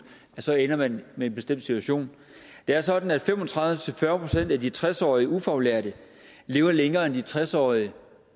så ender man med bestemt situation det er sådan at fem og tredive til fyrre procent af de tres årige ufaglærte lever længere end tres årige